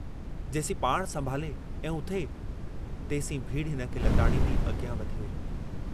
जेसीं पाणु संभाले ऐं उथे तेसीं भीड़ हिनखे लताड़ींदी अॻियां वधी वेई।